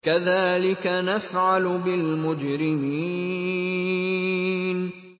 كَذَٰلِكَ نَفْعَلُ بِالْمُجْرِمِينَ